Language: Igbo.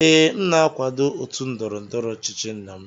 Ee, m na-akwado otu ndọrọ ndọrọ ọchịchị nna m